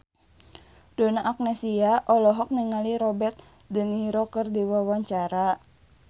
Donna Agnesia olohok ningali Robert de Niro keur diwawancara